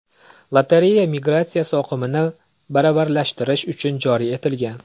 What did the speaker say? Lotereya migratsiya oqimini baravarlashtirish uchun joriy etilgan.